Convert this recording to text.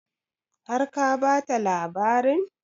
Har ka bata labarin?